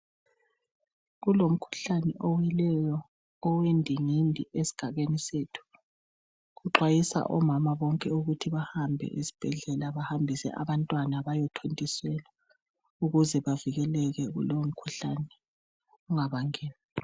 Kulomkhuhlane owileyo owendingindi esigabeni sethu, kuxwayiswa omama bonke ukuthi bahambe esibhedlela bahambise abantwana bayethontiselwa ukuze bavikeleke kulowomkhuhlane ungaba ngeni.